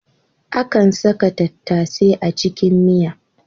Akan saka tattasai a cikin miya.